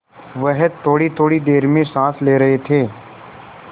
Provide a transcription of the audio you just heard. वह थोड़ीथोड़ी देर में साँस ले रहे थे